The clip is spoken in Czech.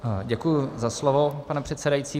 Děkuji za slovo, pane předsedající.